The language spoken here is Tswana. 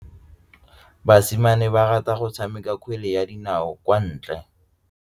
Basimane ba rata go tshameka kgwele ya dinaô kwa ntle.